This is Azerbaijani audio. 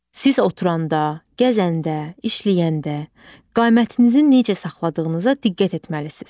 Siz oturanda, gəzəndə, işləyəndə qamətinizin necə saxladığınıza diqqət etməlisiz.